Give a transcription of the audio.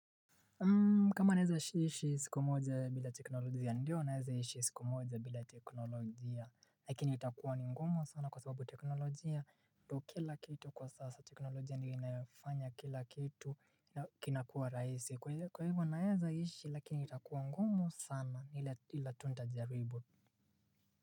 Kama naeza ishi siku moja bila teknolojia ndio naeza ishi siku moja bila teknolojia lakini itakuwa ni ngumu sana kwa sababu teknolojia ndo kila kitu kwa sasa teknolojia ndiyo inayofanya kila kitu kinakua rahisi kwa hivyo naeza ishi lakini itakuwa ngumu sana ila tu ntajaribu.